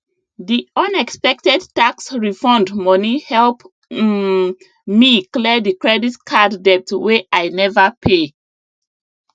the unexpected tax refund money help um me clear the credit card debt wey i never pay